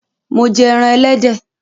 Mo jẹ ẹran Ẹlẹ́dẹ̀